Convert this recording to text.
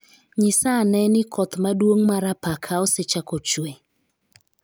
Nyisa ane ni koth maduong ' mar apaka osechako chwe.